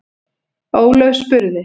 Ólöf spurði: